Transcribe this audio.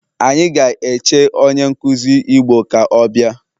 Anyi ga eche onye nkuzi igbo ka o bia